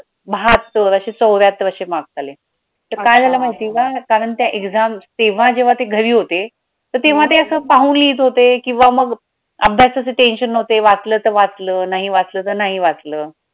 बाहत्तर असे चौऱ्याहत्तर असे marks आले तर काय झालं माहितीये का कारण ते exam तेव्हा जेव्हा ते घरी होते तेव्हा ते असं पाहून लिहीत होते अभ्यासाचे tension नव्हते, वाचलं तर वाचलं, नाही वाचलं तर नाही वाचलं.